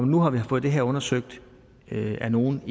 nu har vi fået det her undersøgt igen af nogle